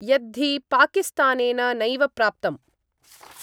यद्धि पाकिस्तानेन नैव प्राप्तम्।